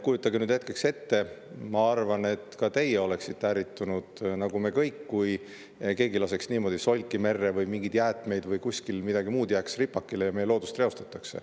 Kujutage nüüd hetkeks ette – ma arvan, et ka teie oleksite ärritunud nagu me kõik, kui keegi laseks niimoodi solki või mingeid jäätmeid merre või kuskil jääks midagi muud ripakile ja meie loodust reostataks.